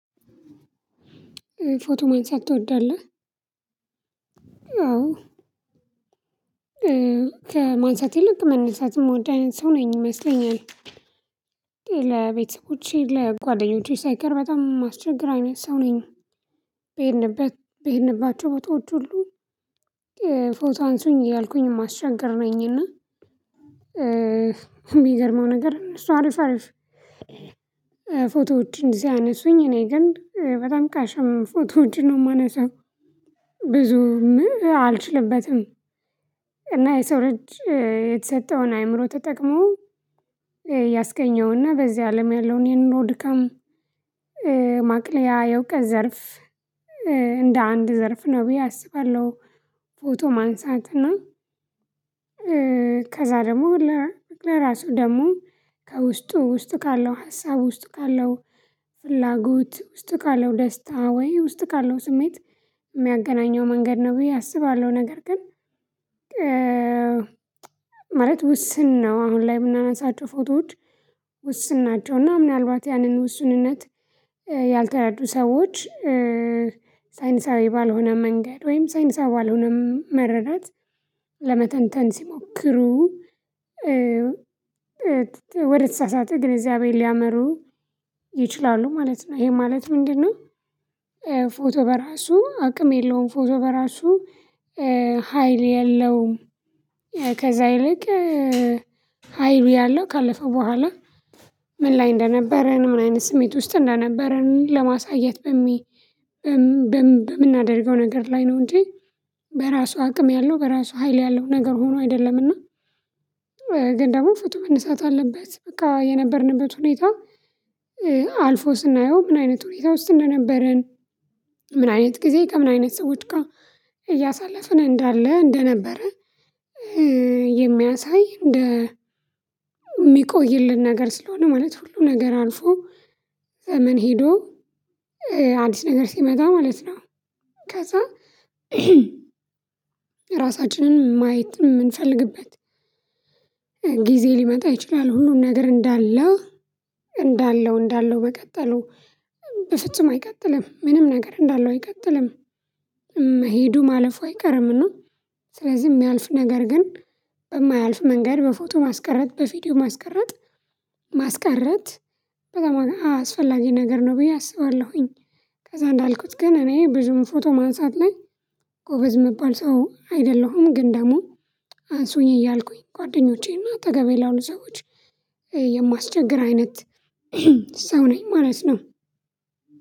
ፎቶ ማንሳት ትወዳለህ? አዎ ከማንሳት ይልቅ መነሳትም የምወድ አይነት ሰው ነኝ ይመስለኛል። ለቤተሰቦቼ ለጓደኞቼ ሳይቀር በጣም የማስቸገር አይነት ሰው ነኝ። በሄድንበት በሄድንባቸው በታዎች ሁሉ ፎቶ አንሱኝ ያልኩኝ ማሻገር ነኝና። የሚገርመው ነገር እሱ አሪፍ አሪፍ ፎቶዎችን ሲያነሱኝ እኔ ግን በጣም ቀሽም ፎቶዎችን ነው የማነሳው። ብዙም አልችልበትም። እና የሰው ልጅ የተሰጠውን አይምሮ ተጠቅሞ ያስገኘውና በዚህ አለም ያለውን የኑሮ ድካም ማቅለያ የእውቀት ዘርፍ እንደ አንድ ዘርፍ ነው ብዬ አስባለሁ። ፎቶ ማንሳት እና ከዛ ደግሞ ለራሱ ደግሞ ከውስጡ ውስጥ ካለው ሀሳብ ውስጥ ካለው ፍላጎት ውስጥ ካለው ደስታ ወይ ውስጥ ካለው ስሜት የሚያገናኘው መንገድ ነው ብዬ አስባለሁ። ነገር ግን ማለት ውስን ነው። አሁን ላይ የምናነሳቸው ፎቶዎች ውስን ናቸው። እና ምናልባት ያንን ውስንነት ያልተረዱ ሰዎች ሳይንሳዊ ባልሆነ መንገድ ወይም ሳይንሳዊ የሆነ መረዳት ለመተንተን ሲሞክሩ። ወደ ተሳሳተ ግንዝዛአቤ ሊያመሩ ይችላሉ ማለት ነው። ይሄ ማለት ምንድነው? ፎቶ በራሱ አቅም የለውም ፎቶ በራሱ ሀይል የለውም። ከዛ ይልቅ ሀይሉ ያለው ካለፈ በኋላ ምን ላይ እንደነበረ ነው ምን አይነት ስሜት ውስጥ እንደነበረ ለማሳየት። በምናደርገው ነገር ላይ ነው እንጂ በራሱ አቅም ያለው በራሱ ሀይል ያለው ነገር ሆኖ አይደለምና። ግን ደግሞ ፎቶ መንነሳት አለበት በቃ የነበርንበት ሁኔታ። አልፎ ስናየው ምን አይነት ሁኔታ ውስጥ እንደነበረን ምን አይነት ጊዜ ከምን አይነት ሰዎች ጋር እያሳለፍን እንዳለ እንደነበረ። የሚያሳይ እንደ የሚቆይልን ነገር ስለሆነ ማለት ሁሉ ነገር አልፎ ዘመን ሄዶ አዲስ ነገር ሲመጣ ማለት ነው። ከዛ ራሳችንን ማየት የምንፈልግበት ጊዜ ሊመጣ ይችላል። ሁሉን ነገር እንዳለ እንዳለው እንዳለው በቀጠሉ በፍጹም አይቀጥልም ምንም ነገር እንዳለው አይቀጥልም። መሄዱ ማለፉ አይቀርም። እና ስለዚህ የሚያልፍ ነገር ግን በማያልፍ መንገድ በፎቶ ማስቀረት በቪዲዮ ማስቀረት ማስቀረት በጣም አስፈላጊ ነገር ነው ብዬ አስባለሁኝ። ከዛ እንዳልኩት ግን እኔ ብዙም ፎቶ ማንሳት ላይ ጎበዝ የምባል ሰው አይደለሁም። ግን ደግሞ አንሱኝ እያልኩኝ ጓደኞቼና አጠገቤ ላሉ ሰዎች የማስቸግር አይነት ሰው ነኝ ማለት ነው።